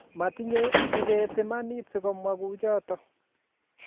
Matinye Kibet imanit si ko mwa kuchotok